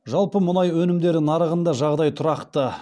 жалпы мұнай өнімдері нарығында жағдай тұрақты